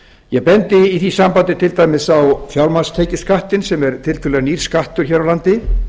ég bendi í því sambandi til dæmis á fjármagnstekjuskattinn sem er tiltölulega nýr skattur hér á landi